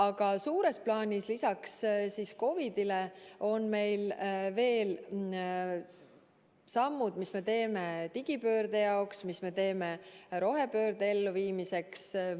Aga suures plaanis on lisaks COVID-ile meil veel sammud, mis me teeme digipöörde jaoks ja mis me teeme rohepöörde elluviimiseks.